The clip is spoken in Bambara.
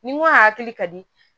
Ni n ko hakil ka di